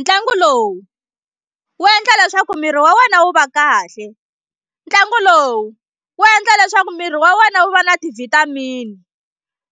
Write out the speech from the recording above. Ntlangu lowu wu endla leswaku miri wa wena wu va kahle ntlangu lowu wu endla leswaku miri wa wena wu va na ti-vitamin